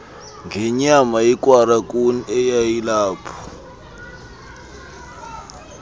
ngenyama yekwalakuni eyayilapho